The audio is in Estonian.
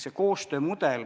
See koostöö mudel ...